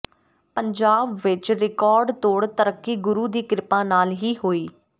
ਪੰਜਾਬ ਵਿਚ ਰਿਕਾਰਡਤੋੜ ਤਰੱਕੀ ਗੁਰੂ ਦੀ ਕਿਰਪਾ ਨਾਲ ਹੀ ਹੋਈ